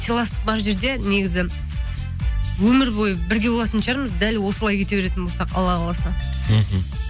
сыйластық бар жерде негізі өмір бойы бірге болатын шығармыз дәл осылай кете беретін болсақ алла қаласа мхм